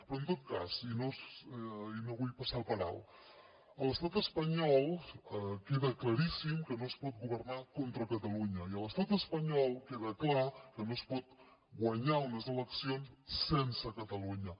però en tot cas i no ho vull passar per alt a l’estat espanyol queda claríssim que no es pot governar contra catalunya i a l’estat espanyol queda clar que no es pot guanyar unes eleccions sense catalunya